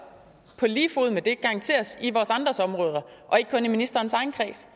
på lige fod med det garanteres noget i vores andres områder og ikke kun i ministerens egen kreds